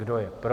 Kdo je pro?